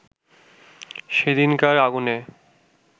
সেদিনকার আগুনে